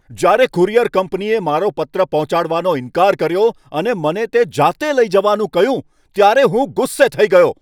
જ્યારે કુરિયર કંપનીએ મારો પત્ર પહોંચાડવાનો ઈન્કાર કર્યો અને મને તે જાતે લઈ જવાનું કહ્યું ત્યારે હું ગુસ્સે થઈ ગયો.